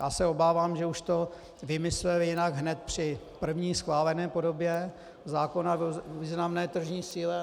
Já se obávám, že už to vymysleli jinak hned při první schválené podobě zákona o významné tržní síle.